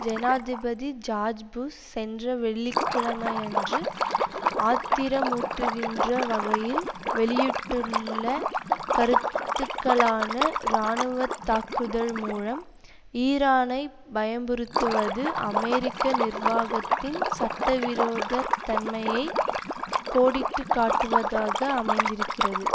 ஜனாதிபதி George Bush சென்ற வெள்ளி கிழமையன்று ஆத்திரமூட்டுகின்ற வகையில் வெளியிட்டுள்ள கருத்துக்களான இராணுவத்தாக்குதல் மூலம் ஈரானை பயமுறுத்துவது அமெரிக்க நிர்வாகத்தின் சட்டவிரோத தன்மையை கோடிட்டுக்காட்டுவதாக அமைந்திருக்கிறது